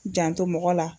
Janto mɔgɔ la